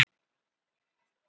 Inn um hálfopið garðhliðið.